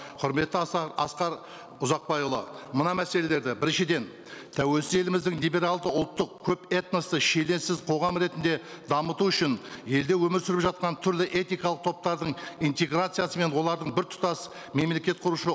құрметті асқар ұзақбайұлы мына мәселелерді біріншіден тәуелсіз еліміздің либералды ұлттық көпэтносты қоғам ретінде дамыту үшін елде өмір сүріп жатқан түрлі этникалық топтардың интеграциясымен олардың біртұтас мемлекет құрушы